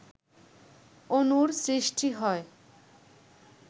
অনুর সৃষ্টি হয়